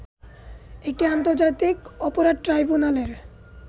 এটি আন্তর্জাতিক অপরাধ ট্রাইব্যুনালের